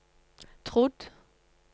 trodd